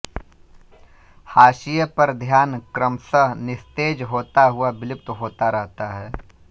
हाशियों पर ध्यान क्रमश निस्तेज होता हुआ विलुप्त होता रहता है